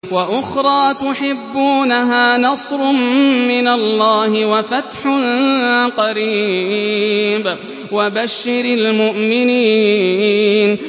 وَأُخْرَىٰ تُحِبُّونَهَا ۖ نَصْرٌ مِّنَ اللَّهِ وَفَتْحٌ قَرِيبٌ ۗ وَبَشِّرِ الْمُؤْمِنِينَ